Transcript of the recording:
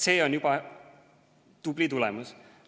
See on juba tubli tulemus.